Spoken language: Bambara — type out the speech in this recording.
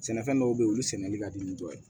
Sɛnɛfɛn dɔw be ye olu sɛnɛli ka di ni dɔ ye